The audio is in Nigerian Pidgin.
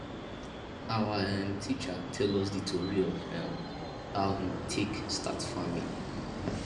awa um teacher tell us di tori of um how him take start farming